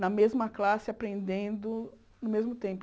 Na mesma classe, aprendendo ao mesmo tempo.